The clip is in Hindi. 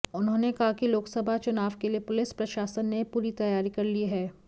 उन्होंने कहा कि लोकसभा चुनाव के लिए पुलिस प्रशासन ने पूरी तैयारी कर ली है